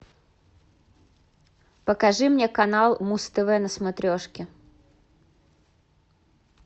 покажи мне канал муз тв на смотрешке